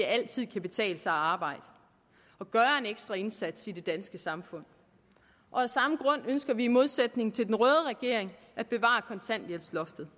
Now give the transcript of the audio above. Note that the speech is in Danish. altid kan betale sig at arbejde og gøre en ekstra indsats i det danske samfund af samme grund ønsker vi i modsætning til den røde regering at bevare kontanthjælpsloftet